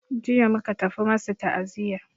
Jiya muka tafi masu ta'aziya.